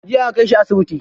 Jiya aka kai shi asibiti.